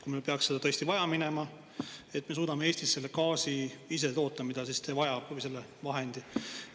Kui meil peaks seda tõesti vaja minema, siis kas me suudame Eestis selle gaasi ise toota, kasutades vahendit, mida see vajab?